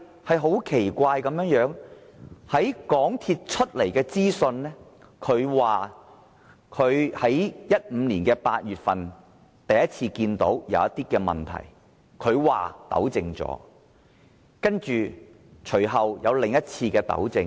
說也奇怪，根據港鐵公司提供的資料，在2015年8月份首次有問題時已作出糾正，隨後又作另一次糾正。